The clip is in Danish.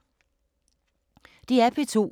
DR P2